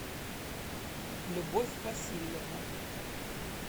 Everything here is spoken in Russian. любовь васильевна